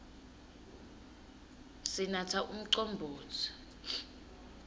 sinatsa umcombotsi